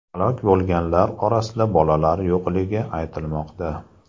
Halok bo‘lganlar orasida bolalar yo‘qligi aytilmoqda.